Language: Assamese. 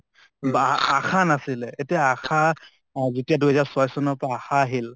বা আশা নাছিলে । এতিয়া আশা, যেতিয়া দুই হাজাৰ ছয় চনৰ পৰা আশা আহিল